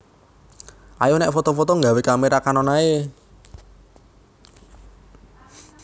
Ayo nek foto foto nggawe kamera Canon ae